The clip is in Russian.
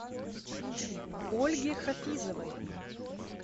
ольге хафизовой